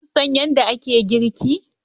Kun san yadda ake girki?